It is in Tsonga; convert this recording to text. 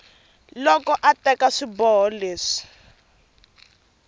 loko a teka swiboho leswi